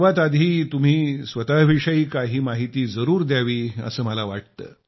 सर्वात आधी तुम्ही स्वतःविषयी काही माहिती जरूर द्यावी असं मला वाटतं